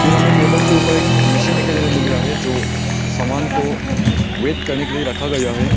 यहां हमें टेबल के ऊपर एक मशीन दिखाई देने मिल रहा है जो सामान को वेट करने के लिए रखा गया है।